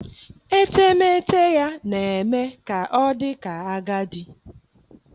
etemeete ya na-eme ka ọ dị ka agadi.